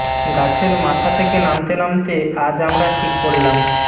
গাছের মাথা থেকে নামতে নামতে আজ আমরা ঠিক করলাম